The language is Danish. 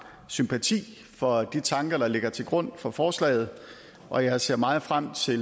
sympati for de tanker der ligger til grund for forslaget og jeg ser meget frem til